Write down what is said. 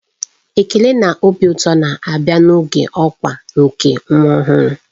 Ekele na obi ụtọ na-abịa n'oge ọkwa nke nwa ọhụrụ.